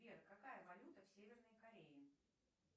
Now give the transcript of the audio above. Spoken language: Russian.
сбер какая валюта в северной корее